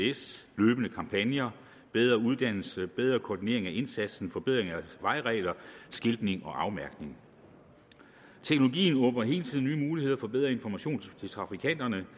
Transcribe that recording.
its løbende kampagner bedre uddannelse bedre koordinering af indsatsen forbedringer af vejregler skiltning og afmærkning teknologien åbner hele tiden nye muligheder for bedre information til trafikanterne